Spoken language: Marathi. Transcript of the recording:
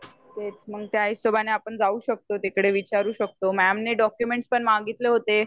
तेच ना त्या हिशोबानी आपण जाऊ शकतो तिकडे विचारू शकतो मॅम ने डॉकयुमेंट्स पण मागीतले होते